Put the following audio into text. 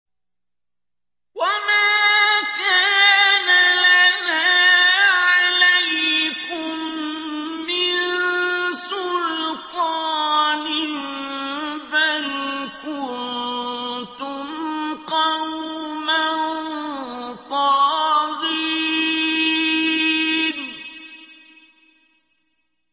وَمَا كَانَ لَنَا عَلَيْكُم مِّن سُلْطَانٍ ۖ بَلْ كُنتُمْ قَوْمًا طَاغِينَ